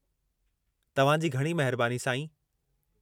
तव्हां जी घणी महिरबानी, साईं।